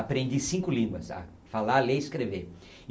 Aprendi cinco línguas, a falar, ler e escrever.